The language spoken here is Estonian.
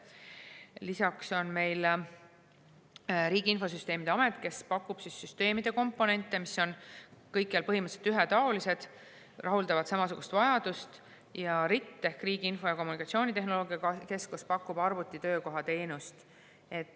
Lisaks on meil Riigi Infosüsteemi Amet, kes pakub süsteemide komponente, mis on kõikjal põhimõtteliselt ühetaolised, rahuldavad samasugust vajadust, ja RIT ehk Riigi Info- ja Kommunikatsioonitehnoloogia Keskus pakub arvutitöökoha teenust.